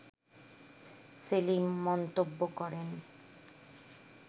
সেলিম মন্তব্য করেন